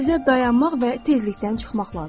Sizə dayanmaq və tezlikdən çıxmaq lazımdır.